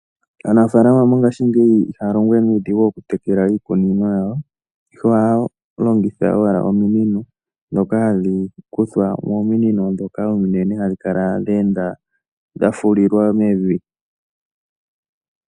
Aanafaalama mongaashingeyi ihaya longo we nuudhigu okutekela iikunino yawo, ihe ohaya longitha owala ominino, ndhoka hadhi kuthwa mominino ominene hadhi kala dhe enda dha fulilwa mevi.